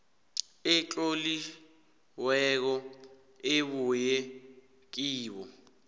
etloliweko ebuya kibo